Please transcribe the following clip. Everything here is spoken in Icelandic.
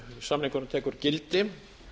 samningurinn tekur gildi